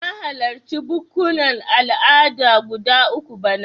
Na halarci bukkunan al'ada guda uku bana.